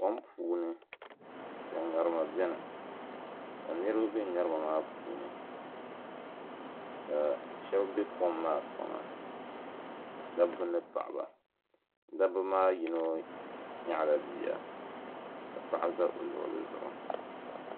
Kom puuni ka ŋarima biɛni ka niriba be ŋarima maa puuni ka Sheba be kom maa kpaŋa dabba ni paɣaba dabba maa yino nyaɣala bia ka paɣa za o luɣuli zuɣu.